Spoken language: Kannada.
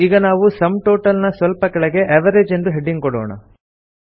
ಈಗ ನಾವು ಸುಮ್ ಟೋಟಲ್ ನ ಸ್ವಲ್ಪ ಕೆಳಗೆ ಅವೆರೇಜ್ ಎಂದು ಹೆಡಿಂಗ್ ಕೊಡೋಣ